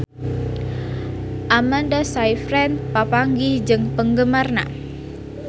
Amanda Sayfried papanggih jeung penggemarna